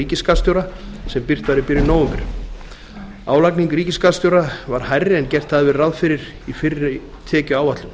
ríkisskattstjóra sem birt var í byrjun nóvember áætlun ríkisskattstjóra var hærri en gert hafði verið ráð fyrir í fyrri tekjuáætlun